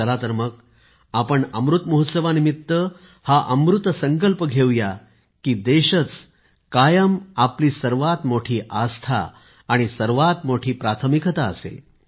चल तर मग आपण अमृत महोत्सवानिमित्त हा अमृत संकल्प घेऊया की देशच कायम आपली सर्वात मोठी आस्था आणि सर्वात मोठी प्राथमिकता असेल